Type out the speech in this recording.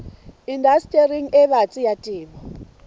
indastering e batsi ya temo